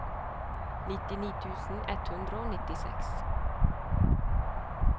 nittini tusen ett hundre og nittiseks